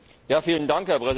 Herr Präsident!